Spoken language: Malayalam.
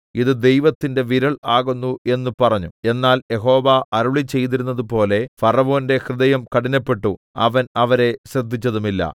ഇത് ദൈവത്തിന്റെ വിരൽ ആകുന്നു എന്ന് പറഞ്ഞു എന്നാൽ യഹോവ അരുളിച്ചെയ്തിരുന്നതുപോലെ ഫറവോന്റെ ഹൃദയം കഠിനപ്പെട്ടു അവൻ അവരെ ശ്രദ്ധിച്ചതുമില്ല